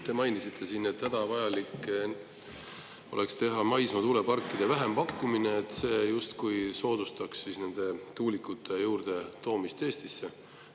Te mainisite siin, et hädavajalik oleks teha maismaa tuuleparkide vähempakkumine, sest see justkui soodustaks tuulikute juurde Eestisse.